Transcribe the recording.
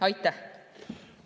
Aitäh!